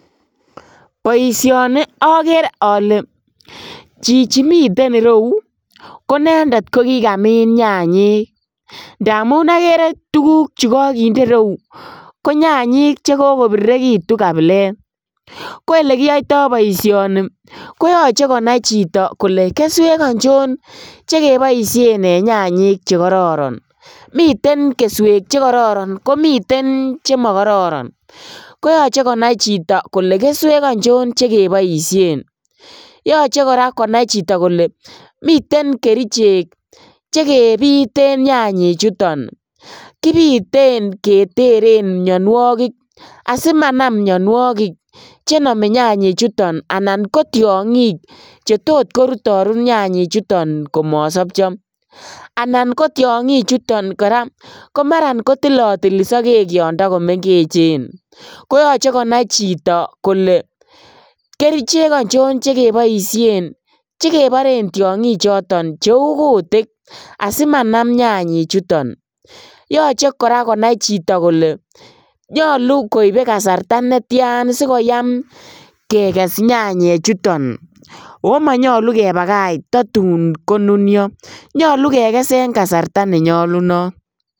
Boisioni okeree ole chichi miten ireu ko inendet kokikamin nyanyik ndamun okere tuguk chukokinde ireu konyanyik chekokoirirekitun kabilet, ko elekiyoito boisioni koyoche konai chito kole keswek ochon chekeboisien en nyanyik chekororon miten keswej chekororon komite chemokororon koyoche konai chito kole keswek ochon chekeboisien, yoche konai chito koraa kole miten kerichek chekibiten nyanyichuton kibiten keteren mionuokik asimanam mionuokik chenome nyanyichuton anan ko tiongik chetot korutorut nyanyichuton ko mosopcho, anan ko tiongichuton koraa kotilotili sokek yondo komengechen , koyoche konai chito kole kerichek ochon chekeboisien chekeboren tiongichoton cheu kutik asimanam nyanyichuton, yoche konai chito koraa kole nyolu koibe kasarta netian sikyaam kekes nyanyichuton oo monyolu kebakach totun konunio nyolu kekes en kasarta ne nyolunot.